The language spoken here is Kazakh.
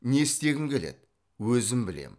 не істегім келеді өзім білемін